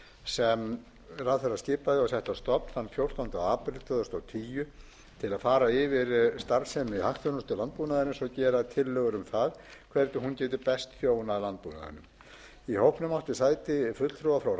sem ráðherra skipaði og setti á stofn þann fjórtánda apríl tvö þúsund og tíu til að fara yfir starfsemi hagþjónustu landbúnaðarins og gera tillögur um það hvernig hún getur best þjónað landbúnaðinum í hópnum áttu sæti fulltrúar frá